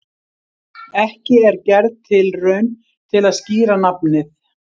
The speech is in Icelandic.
Ekki er gerð tilraun til að skýra nafnið.